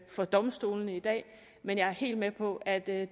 for domstolene i dag men jeg er helt med på at at